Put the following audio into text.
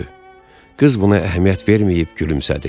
Qız buna əhəmiyyət verməyib gülümsədi.